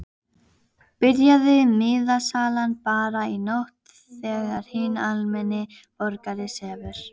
Byrjaði miðasalan bara í nótt þegar hinn almenni borgari sefur?